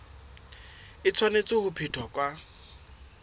e tshwanetse ho phethwa ka